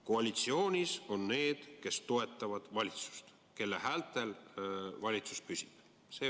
Koalitsioonis on need, kes toetavad valitsust ja kelle häältel valitsus püsib.